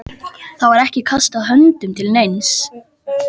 Það var ekki kastað höndum til neins.